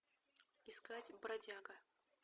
искать бродяга